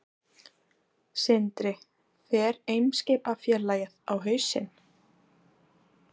Sindri: Fer Eimskipafélagið á hausinn?